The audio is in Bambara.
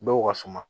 Dɔw ka suma